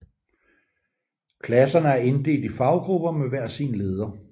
Klasserne er inddelt i faggrupper med hver sin leder